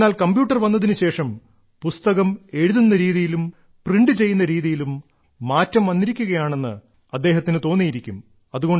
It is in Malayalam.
എന്നാൽ കമ്പ്യൂട്ടർ വന്നതിനുശേഷം പുസ്തകം എഴുതുന്ന രീതിയിലും പ്രിന്റ് ചെയ്യുന്ന രീതിയിലും മാറ്റം വന്നിരിക്കുകയാണെന്ന് അദ്ദേഹത്തിനു തോന്നിയിരിക്കും